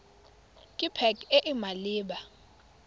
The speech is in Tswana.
ke pac e e maleba